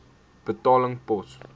betaling pos